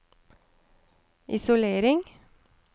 isolering